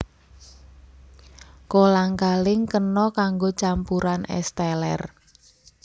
Kolang kaling kena kanggo campuran ès teler